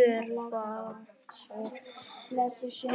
Örfá orð